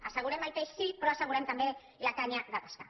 assegurem el peix sí però assegurem també la canya de pescar